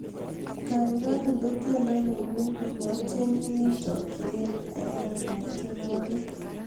Gaigai indene tyendo nenyu natyeni eng chakchinet eng laindab tyenwogik